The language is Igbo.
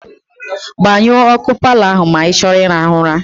Gbanyụọ ọkụ paalọ ahụ ma ị chọọ ịrahụ ụra.